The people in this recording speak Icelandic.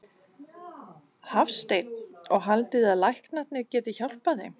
Hafsteinn: Og haldið þið að læknarnir geti hjálpað þeim?